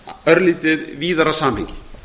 örlítið víðara samhengi